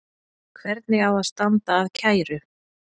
Hvernig á að standa að kæru?